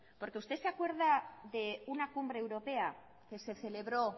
porque usted se acuerda de una cumbre europea que se celebró